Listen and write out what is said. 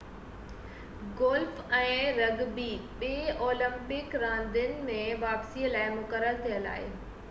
golf ۽ rugby ٻئي Olympic راندين ۾ واپسي لاءِ مقرر ٿيل آهن